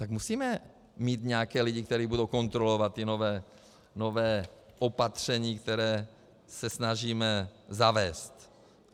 Tak musíme mít nějaké lidi, kteří budou kontrolovat ta nová opatření, která se snažíme zavést.